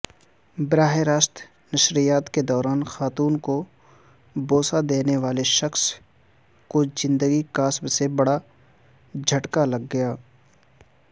براہ راست نشریات کے دوران خاتون کوبوسہ دینے والےشخص کوزندگی کاسب سے بڑاجھٹکالگ گیا